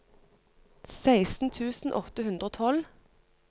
seksten tusen åtte hundre og tolv